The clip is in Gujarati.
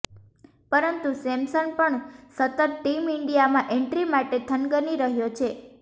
પરંતુ સેમસન પણ સતત ટીમ ઈન્ડિયામાં એન્ટ્રી માટે થનગની રહ્યો છે